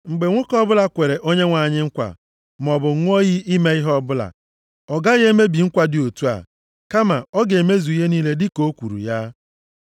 Mgbe nwoke ọbụla kwere Onyenwe anyị nkwa, maọbụ ṅụọ iyi ime ihe ọbụla, ọ gaghị emebi nkwa dị otu a. Kama ọ ga-emezu ihe niile dịka o kwuru ya.